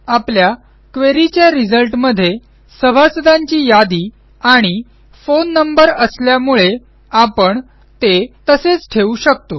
आपल्याquery च्या रिझल्टमध्ये सभासदांची यादी आणि फोन नंबर असल्यामुळे आपण ते तसेच ठेवू शकतो